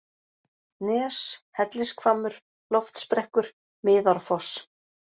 Nes, Hellishvammur, Loftsbrekkur, Miðárfoss